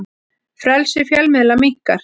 Frelsi fjölmiðla minnkar